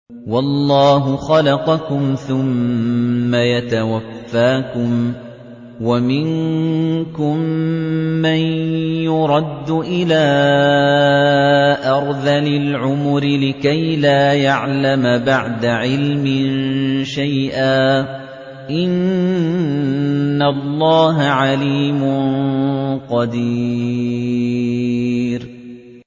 وَاللَّهُ خَلَقَكُمْ ثُمَّ يَتَوَفَّاكُمْ ۚ وَمِنكُم مَّن يُرَدُّ إِلَىٰ أَرْذَلِ الْعُمُرِ لِكَيْ لَا يَعْلَمَ بَعْدَ عِلْمٍ شَيْئًا ۚ إِنَّ اللَّهَ عَلِيمٌ قَدِيرٌ